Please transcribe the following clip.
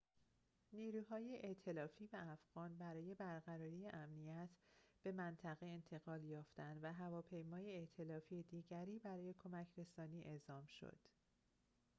نیروهای ائتلافی و افغان برای برقراری امنیت به منطقه انتقال یافتند و هواپیمای ائتلافی دیگری برای کمک‌رسانی اعزام شد